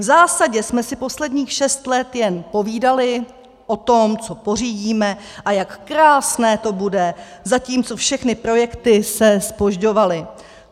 V zásadě jsme si posledních šest let jen povídali o tom, co pořídíme a jak krásné to bude, zatímco všechny projekty se zpožďovaly.